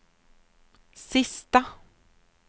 sista